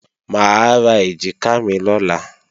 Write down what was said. Mà á ra èjìká mi lọ́la